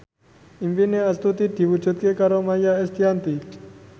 impine Astuti diwujudke karo Maia Estianty